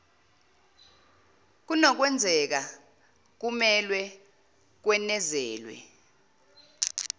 kunokwenzeka kumelwe kwenezelwe